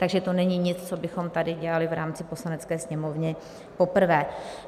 Takže to není nic, co bychom tady dělali v rámci Poslanecké sněmovny poprvé.